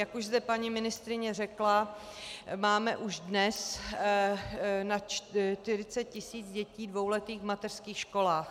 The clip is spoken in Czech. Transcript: Jak už zde paní ministryně řekla, máme už dnes na 40 tisíc dětí dvouletých v mateřských školách.